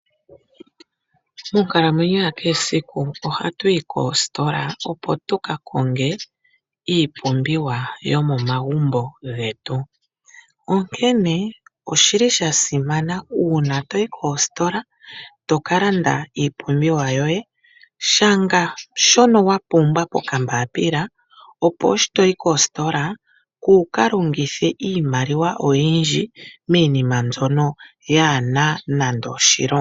Monkalamwenyo ya kehe esiku oha tu yi koostola opo tu ka konge iipumbiwa yo momagumbo getu, onkene oshili shasimana uuna to yi koositola tokalanda iipumbiwa yo ye, shanga shono wapumbwa pokambapila opo shi toyi koositola kuukalongithe iimaliwa oyindji miinima mbyono kaa yi na oshilonga.